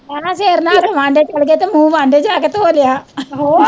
ਇਹ ਨਾ ਸਿਰ ਨਹਾ ਕੇ ਵਾਡੇ ਚਲਗੇ ਤੇ ਮੂੰਹ ਵਾਡੇ ਜਾ ਕੇ ਧੋ ਲਿਆ